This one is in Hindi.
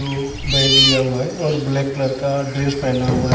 बैग लिया हुआ हैं और ब्लैक कलर का ड्रेस पहना हुआ हैं ।